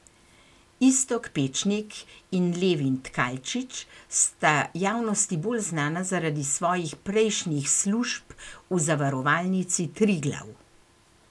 Iztok Pečnik in Levin Tkalčič sta javnosti bolj znana zaradi svojih prejšnjih služb v zavarovalnici Triglav.